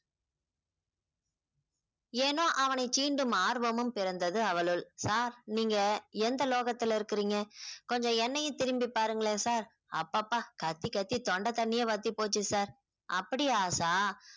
ஏனோ அவனை சீண்டும் ஆர்வமும் பிறந்தது அவளுள் sir நீங்க எந்த லோகத்துல இருக்குறீங்க கொஞ்சம் என்னையும் திரும்பிப் பாருங்களேன் sir அப்பப்பா கத்தி கத்தி தொண்ட தண்ணியே வத்தி போச்சு sir அப்படியா ஆஷா